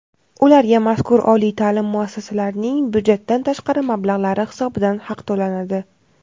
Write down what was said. ularga — mazkur oliy taʼlim muassasalarning byudjetdan tashqari mablag‘lari hisobidan haq to‘lanadi.